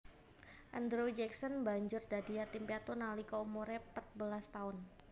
Andrew Jackson banjur dadi yatim piatu nalika umuré patbelas taun